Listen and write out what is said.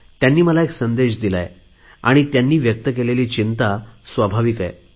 त्यांनी मला संदेश दिला आहे आणि त्यांनी व्यक्त केलेली चिंता स्वाभाविक आहे